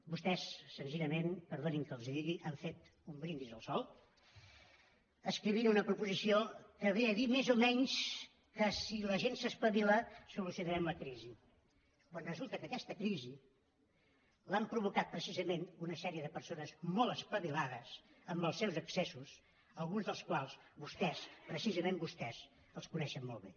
vostès senzillament perdonin que els ho digui han fet un brindis al sol escrivint una proposició que ve a dir més o menys que si la gent s’espavila solucionarem la crisi quan resulta que aquesta crisi l’han provocat precisament una sèrie de persones molt espavilades amb els seus excessos alguns dels quals vostès precisament vostès coneixen molt bé